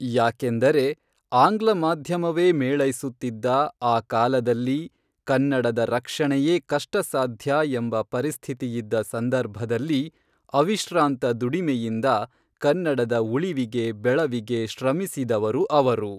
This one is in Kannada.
ಯಾಕೆಂದರೆ ಆಂಗ್ಲ ಮಾಧ್ಯಮವೇ ಮೇಳೈಸುತ್ತಿದ್ದ ಆ ಕಾಲದಲ್ಲಿ ಕನ್ನಡದ ರಕ್ಷಣೆಯೇ ಕಷ್ಟಸಾಧ್ಯ ಎಂಬ ಪರಿಸ್ಥಿತಿಯಿದ್ದ ಸಂದರ್ಭದಲ್ಲಿ ಅವಿಶ್ರಾಂತ ದುಡಿಮೆಯಿಂದ ಕನ್ನಡದ ಉಳಿವಿಗೆ ಬೆಳವಿಗೆ ಶ್ರಮಿಸಿದವರು ಅವರು